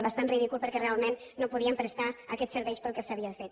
bastant ridícul perquè realment no podien prestar aquests serveis per als quals s’havia fet